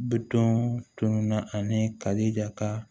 Bitɔn tununna ani kalija ka